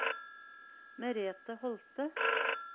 Merethe Holte